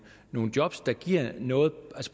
nogle job der giver noget på